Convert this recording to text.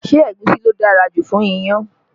Ṣé egusi ló dára jù fún iyán?